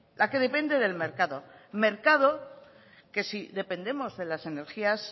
la que depende del mercado mercado que si dependemos de las energías